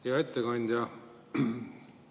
Hea ettekandja!